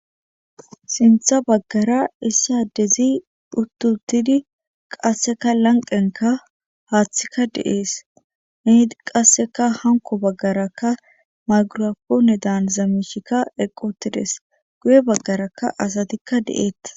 sintha baggara issa adezi dhuttutidi qasseka lanqenka haaththikka deees meedi qasseka hanko baggarakka magurapoone daan zamishikka eqqotides guye baggarakka asatikka de'ettes